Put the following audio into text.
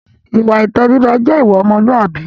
Ìwà ìtẹríba jẹ́ ìwà ọmọlúàbí.